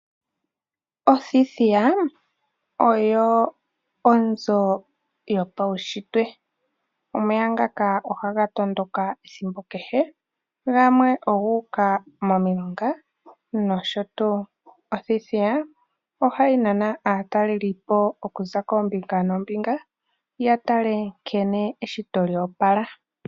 Othithiya oyo onzo yopaushitwe. Omeya ngaka ohaga tondoka ethimbo kehe gamwe ogu uka momiilongaa noshotuu. Othithiya ohayi nana aatalelipo okuza koombinga noombinga yatale nkene eshito lyoopala.